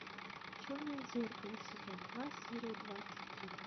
черное зеркало сезон два серия двадцать три